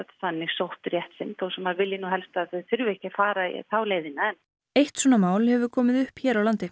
sótt rétt sinn þó maður vilji nú helst að þau þurfi ekki fara þá leiðina eitt svona mál hefur komið upp hér á landi